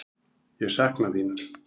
Ég sakna þín.